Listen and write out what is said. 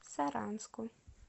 саранску